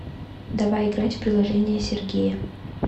давай играть в приложение сергея